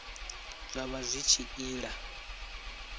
zwa vha zwi tshi ila